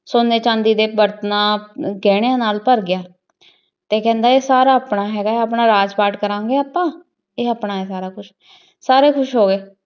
ਸੋਨੇ ਚੰਡੀ ਡੀ ਬਰਤਨਾਂ ਗੇਹ੍ਨ੍ਯਾਂ ਨਾਲ ਭਰ ਗਯਾ ਤੇ ਊ ਕਹੰਦਾ ਆਯ ਸਾਰਾ ਤਾਂ ਹੇਗਾ ਆਪਣਾ ਰਾਜ ਪਾਤ ਕਰਨ ਗੇ ਆਪਾਂ ਤੇ ਆਪਣਾ ਹੈ ਸਾਰਾ ਕੁਜ ਸਾਰੇ ਖੁਸ ਹੋ ਗਏ